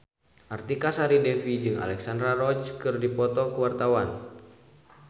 Artika Sari Devi jeung Alexandra Roach keur dipoto ku wartawan